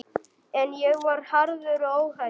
En ég var harður og óhræddur.